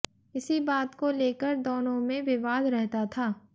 इसी बात को लेकर दोनों में विवाद रहता था